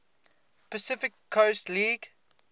pacific coast league